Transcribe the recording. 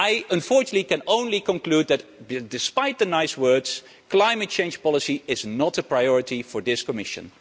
Unfortunately, I can only conclude that, despite the nice words, climate change policy is not a priority for this Commission.